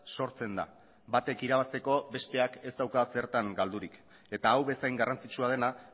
sortzen da batek irabazteko besteak ez dauka zertan galdurik eta hau bezain garrantzitsua dena